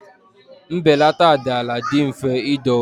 Mbelata dị ala dị mfe idowe.